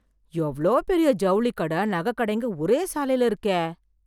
எவ்ளோ பெரிய ஜவுளிக்கட, நகைக் கடைங்க ஒரே சாலையில இருக்கே..